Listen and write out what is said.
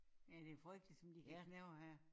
Ja det frygteligt som de kan knævre her